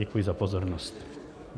Děkuji za pozornost.